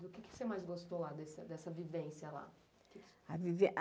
Do que você mais gostou dessa vivência lá?